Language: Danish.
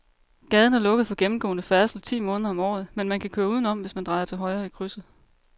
Gaden er lukket for gennemgående færdsel ti måneder om året, men man kan køre udenom, hvis man drejer til højre i krydset.